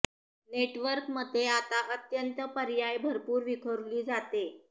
network मते आता अत्यंत पर्याय भरपूर विखुरली जाते